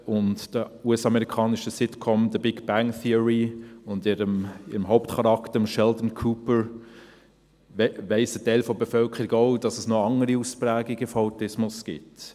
Seit 2007 und der US-amerikanischen Sitcom «The Big Bang Theory» und ihrem Hauptcharakter, Sheldon Cooper, weiss ein Teil der Bevölkerung auch, dass es noch andere Ausprägungen von Autismus gibt.